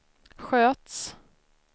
sköts